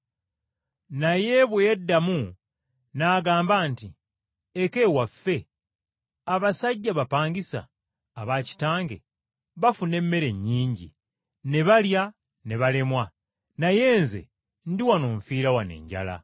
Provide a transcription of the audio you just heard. “Naye bwe yeddamu n’agamba nti, ‘Eka ewaffe, abasajja abapakasi aba kitange bafuna emmere nnyingi ne balya ne balemwa, naye nze ndi wano nfiira wano enjala!